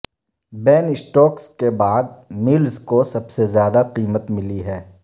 بین Stokes کے بعد Mills کو سب سے زیادہ قیمت ملی ہے